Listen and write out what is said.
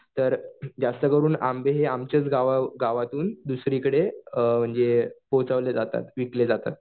तर जास्त करून आंबे हे आमच्याच गावातून दुसरीकडे अ म्हणजे पोहचवले जातात विकले जातात.